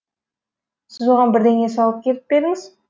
сіз оған бірдеңе салып кетіп пе едіңіз